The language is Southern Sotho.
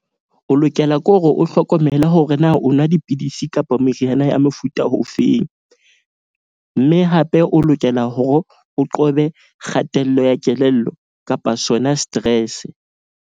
O lokela ke hore o hlokomele hore na o nwa dipidisi kapa meriana ya mofuta o feng. Mme hape o lokela hore o qobe kgatello ya kelello kapa sona stress.